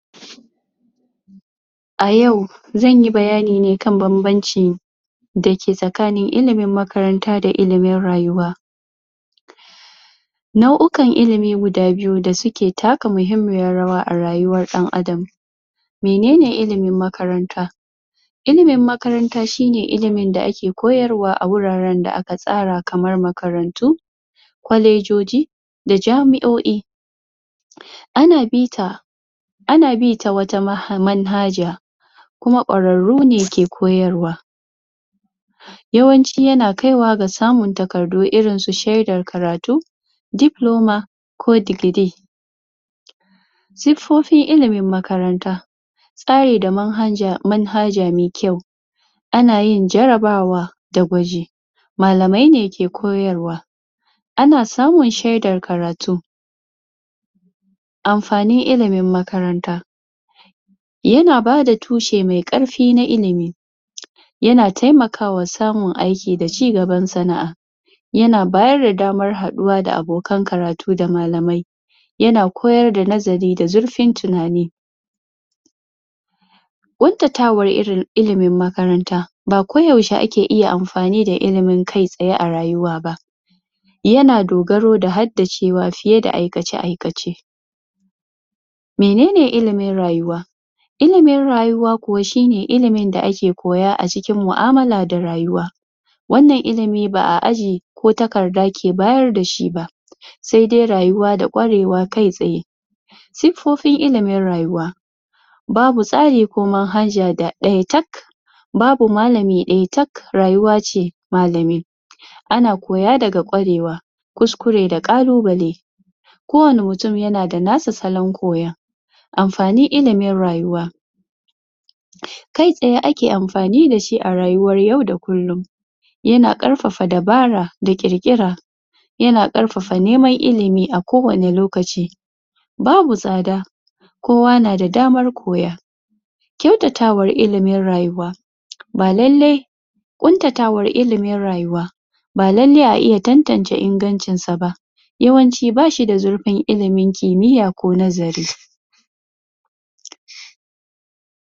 A yau zan yi bayani ne kan bambancin da ke tsakanin ilimin makaranta da ilimin rayuwa nau'ikan ilimi guda biyu da suke taka muhimmiyar rawa a rayuwar dan Adam mene ne ilimin makaranta ilimin makarnta shine ilimin da ake koyarwa a wuraren da aka tsara kamar makarantu kwalejoji da jami'o'i ana bita ana bi ta wata manhaja kuma ƙwararru ne ke koyarwa yawanci yana kaiwa da samun takardu irin su shedar karatu diploma ko degree sifoffin ilimin makaranta tsari da manhaja mai kyau ana yin jarabawa da gwaji malamai ne ke koyarwa ana samun shedar karatu amfanin ilimin makaranta yana bada tushe mai ƙarfi na ilimi ya na taimakawa samun aiki da cigaban sana'a ya na bada damar haɗuwa da abokan karatu da malamai ya na koyar da nazari da zurfin tunani ƙuntatawar ilimin makaranta ba ko yaushe ake iya amfani da ilimin kai tsaye a rayuwa ba ya na dogaro da haddace wa fiye da aikace-aikace mene ne ilimin rayuwa ilimin rayuwa kuwa shine ilimin da ake koya a cikin mu'amala da rayuwa wannan ilimi ba a aji ko takarda ke bayar da shi ba sai dai rayuwa da ƙwarewa kai tsaye sifoffin ilimin rayuwa babu tsari ko manhaja ɗaya tak babu malami ɗaya tak rayuwa ce malami ana koya daga ƙware wa kuskure da ƙalubale ko wane mutum yana da nasa salon koyon amfanin ilimin rayuwa kai tsaye ake amfani da shi a rayuwar yau da kullum ya na ƙarfafa dabara da ƙirƙira ya na ƙarfafa neman ilimi a kowane lokaci babu tsada kowa na da damar koya kyautatawar ilimin rayuwa ba lallai ƙuntatawar ilimin rayuwa ba lallai a iya tantance ingancinsa ba yawanci ba shi da zurfin ilimin kimiyya ko nazari.